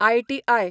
IT, I.